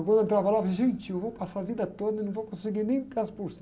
Quando eu entrava lá, eu falava, gente, eu vou passar a vida toda e não vou conseguir nem dez por cento